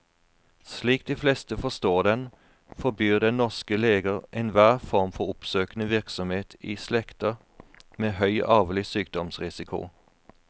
Slik de fleste forstår den, forbyr den norske leger enhver form for oppsøkende virksomhet i slekter med høy arvelig sykdomsrisiko.